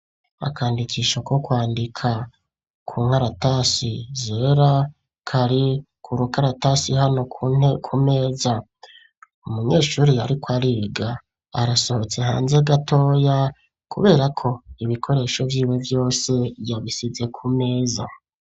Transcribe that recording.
Akandikisho, ko kwandika, ku nkaratasi zera, kari ku rukaratasi, hano ku meza; umunyeshuri yariko ariga, arasohotse hanze gatoya, kubera ko, ibikoresho vyiwe vyose, yabisize ku meza.